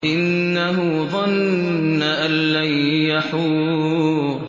إِنَّهُ ظَنَّ أَن لَّن يَحُورَ